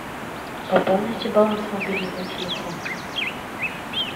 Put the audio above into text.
пополните баланс мобильного телефона